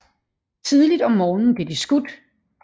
Tidligt om morgenen blev de skudt